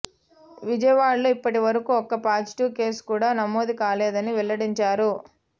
వియవాడలో ఇప్పటి వరకు ఒక్క పాజిటీవ్ కేసు కూడా నమోదు కాలేదని వెల్లడించారు